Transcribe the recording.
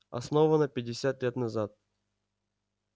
основана пятьдесят лет назад